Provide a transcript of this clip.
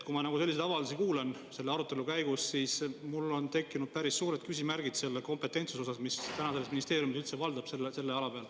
Kui ma selliseid avaldusi kuulen selle arutelu käigus, siis mul on tekkinud päris suured küsimärgid selle kompetentsuse osas, mis täna selles ministeeriumis üldse valdab selle ala peal.